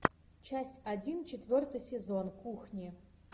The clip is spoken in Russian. часть один четвертый сезон кухни